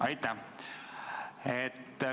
Aitäh!